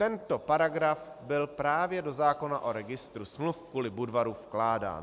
Tento paragraf byl právě do zákona o registru smluv kvůli Budvaru vkládán.